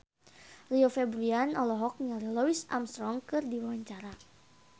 Rio Febrian olohok ningali Louis Armstrong keur diwawancara